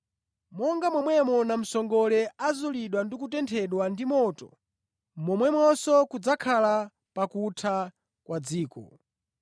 “Monga momwe namsongole azulidwa ndi kutenthedwa ndi moto, momwemonso kudzakhala pakutha kwa dziko.